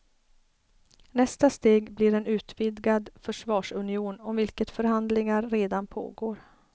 Nästa steg blir en utvidgad försvarsunion om vilket förhandlingar redan pågår.